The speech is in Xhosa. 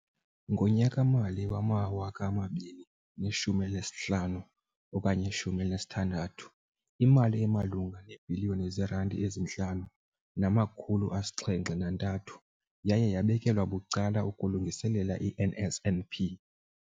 Ngonyaka-mali wama-2015 okanye 16, imali emalunga neebhiliyoni zeerandi eziyi-5 703 yaye yabekelwa bucala ukulungiselela i-NSNP.